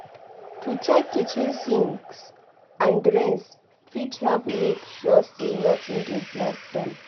To check kitchen sinks and drains fit help make sure say nothing dey block dem